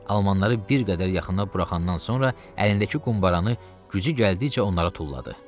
Almanları bir qədər yaxına buraxandan sonra əlindəki qumbaranı gücü gəldikcə onlara tulladı.